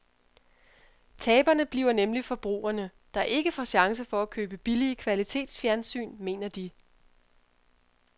Taberne bliver nemlig forbrugerne, der ikke får chance for at købe billige kvalitetsfjernsyn, mener de.